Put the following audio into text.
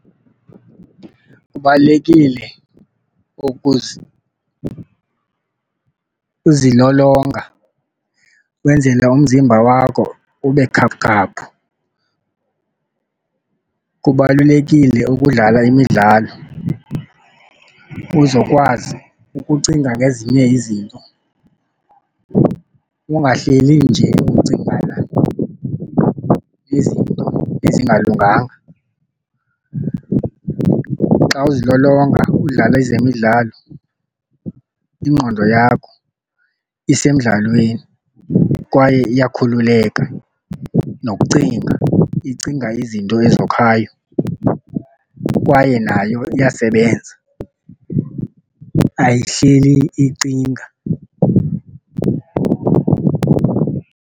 Kubalulekile uzilolonga kwenzele umzimba wakho ube khaphukhaphu. Kubalulekile ukudlala imidlalo uzokwazi ukucinga ngezinye izinto, ungahleli nje ucingana nezinto ezingalunganga. Xa uzilolonga udlala ezemidlalo ingqondo yakho isemdlalweni, kwaye iyakhululeka nokucinga icinga izinto ezokhayo kwaye nayo iyasebenza ayihleli icinga.